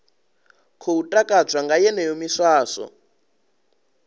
khou takadzwa nga yeneyo miswaswo